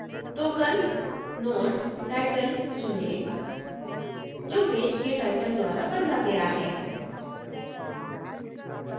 token node: title चुनें जो page के title द्वारा बदला गया है